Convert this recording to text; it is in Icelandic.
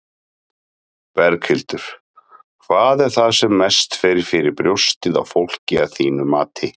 Berghildur: Hvað er það sem mest fer fyrir brjóstið á fólki, að þínu mati?